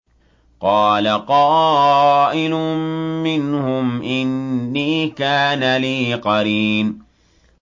قَالَ قَائِلٌ مِّنْهُمْ إِنِّي كَانَ لِي قَرِينٌ